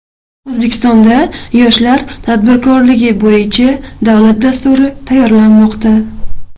O‘zbekistonda yoshlar tadbirkorligi bo‘yicha davlat dasturi tayyorlanmoqda.